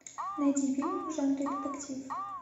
найди фильм в жанре детектив